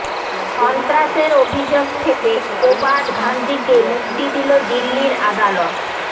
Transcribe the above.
সন্ত্রাসের অভিযোগ থেকে কোবাড ঘান্দীকে মুক্তি দিল দিল্লির আদালত